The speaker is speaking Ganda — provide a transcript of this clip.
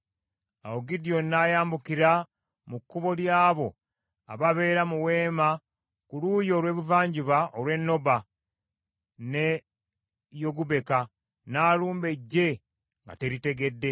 Awo Gidyoni n’ayambukira mu kkubo ly’abo ababeera mu weema ku luuyi olw’ebuvanjuba olw’e Noba n’e Yogubeka n’alumba eggye nga teritegedde.